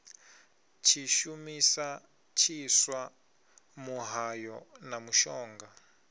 tshishumisa tshiswa muhayo na mushonga